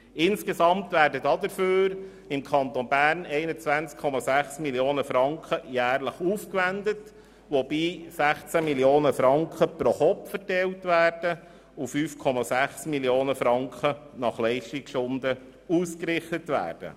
Insgesamt werden dafür im Kanton Bern 21,6 Mio. Franken pro Jahr aufgewendet, wobei 16 Mio. Franken pro Kopf verteilt und 5,6 Mio. Franken nach Leistungsstunden ausgerichtet werden.